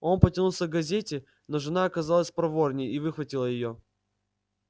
он потянулся к газете но жена оказалась проворнее и выхватила её